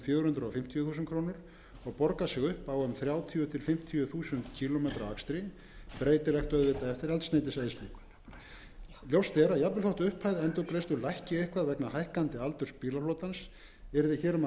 fjögur hundruð fimmtíu þúsund krónur og borgar sig upp á um þrjátíu til fimmtíu þúsund kílómetra akstri breytilegt eftir eldsneytiseyðslu ljóst er að jafnvel þótt upphæð endurgreiðslu lækki eitthvað vegna hækkandi aldurs bílaflotans yrði hér um verulega